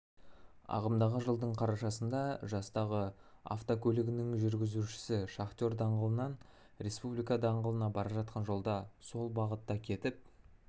ағымдағы жылдың қарашасында жастағы автокөлігінің жүргізушісі шахтер даңғылынан республика даңғылына бара жатқан жолда сол бағытта кетіп